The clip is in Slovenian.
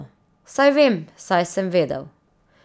Saj vem, saj sem vedel.